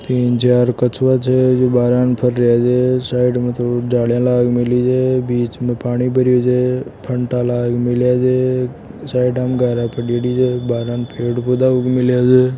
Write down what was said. तीन चार कछुवा छे जो बाहर आय न फरवा छे साइड में दो जालियां लाग मेली छे बीच में पानी भरियो छे फंटा लाग मेलिया छे साइड में गारा पडियोडी है गारा म पेड़ पोधा उग मिलिया छे।